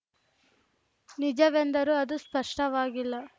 ನಿಜವೆಂದರೂ ಅದು ಸ್ಪಷ್ಟವಾಗಿಲ್ಲ